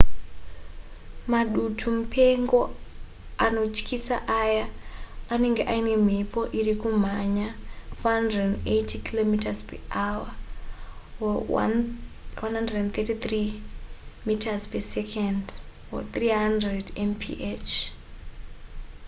madutu mupengo anotyisa aya anenge aine mhepo iri kumhanya 480 km/hr 133m/s; 300mph